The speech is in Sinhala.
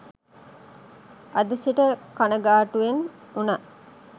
අද සිට කණගාටුවෙන් වුනත්